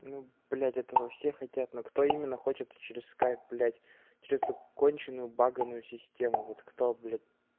ну блять этого все хотят но кто именно хочет через скайп блять чисто конченую баганую систему вот кто блять